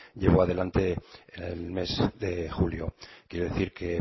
llevó adelante el mes de julio quiero decir que